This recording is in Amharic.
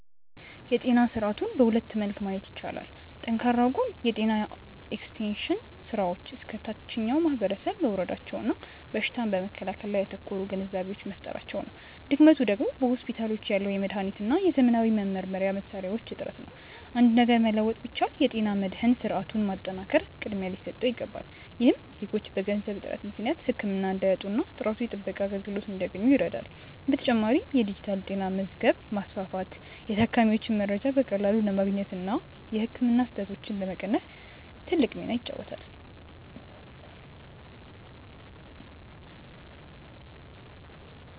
የጤና ስርዓቱን በሁለት መልክ ማየት ይቻላል። ጠንካራው ጎን የጤና ኤክስቴንሽን ስራዎች እስከ ታችኛው ማህበረሰብ መውረዳቸውና በሽታን በመከላከል ላይ ያተኮሩ ግንዛቤዎች መፈጠራቸው ነው። ድክመቱ ደግሞ በሆስፒታሎች ያለው የመድኃኒትና የዘመናዊ መመርመሪያ መሣሪያዎች እጥረት ነው። አንድ ነገር መለወጥ ቢቻል፣ የጤና መድህን ስርዓቱን ማጠናከር ቅድሚያ ሊሰጠው ይገባል። ይህም ዜጎች በገንዘብ እጥረት ምክንያት ህክምና እንዳያጡና ጥራቱ የተጠበቀ አገልግሎት እንዲያገኙ ይረዳል። በተጨማሪም የዲጂታል ጤና መዝገብ ማስፋፋት የታካሚዎችን መረጃ በቀላሉ ለማግኘትና የህክምና ስህተቶችን ለመቀነስ ትልቅ ሚና ይጫወታል።